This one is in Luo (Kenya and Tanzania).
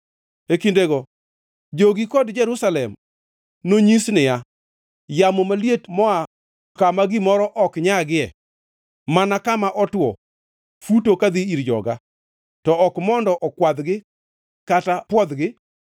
E kindego jogi kod Jerusalem nonyisi niya, “Yamo maliet moa kama gimoro ok nyagie mana kama otwo futo kadhi ir joga, to ok mondo okwadhgi kata pwodhogi;